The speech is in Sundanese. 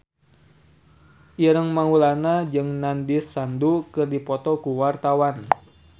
Ireng Maulana jeung Nandish Sandhu keur dipoto ku wartawan